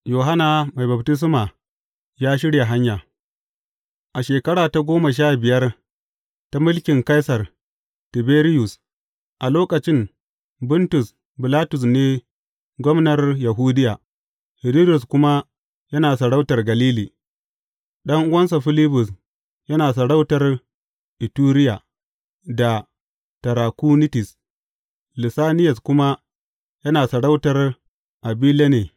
Yohanna Mai Baftisma ya shirya hanya A shekara ta goma sha biyar ta mulkin Kaisar Tiberiyus, a lokacin Buntus Bilatus ne gwamnar Yahudiya, Hiridus kuma yana sarautar Galili, ɗan’uwansa Filibus yana sarautar Ituriya da Tarakunitis, Lisaniyas kuma yana sarautar Abiline.